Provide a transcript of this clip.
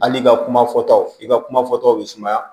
Hali i ka kuma fɔtaw i ka kumafɔtaw bɛ sumaya